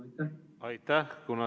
Aitäh!